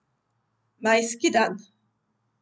Majski dan.